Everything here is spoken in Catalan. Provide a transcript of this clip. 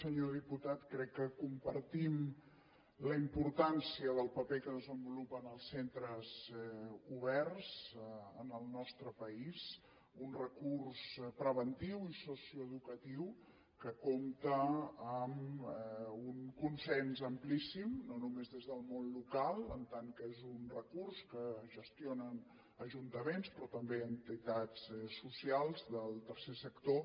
senyor diputat crec que compartim la importància del paper que desenvolupen els centres oberts en el nostre país un recurs preventiu i socioeducatiu que compta amb un consens amplíssim no només des del món local en tant que és un recurs que gestionen ajuntaments però també entitats socials del tercer sector